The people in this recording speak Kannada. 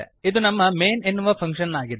ಇದು ನಮ್ಮ ಮೈನ್ ಎನ್ನುವ ಫಂಕ್ಶನ್ ಆಗಿದೆ